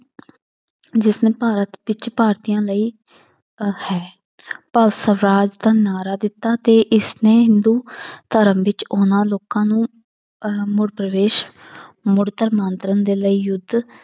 ਜਿਸਨੇ ਭਾਰਤ ਵਿੱਚ ਭਾਰਤੀਆਂ ਲਈ ਅਹ ਹੈ ਰਾਜ ਦਾ ਨਾਅਰਾ ਦਿੱਤਾ ਤੇ ਇਸਨੇ ਹਿੰਦੂ ਧਰਮ ਵਿੱਚ ਉਹਨਾਂ ਲੋਕਾਂ ਨੂੰ ਪਰਵੇਸ ਦੇ ਲਈ ਯੁੱਧ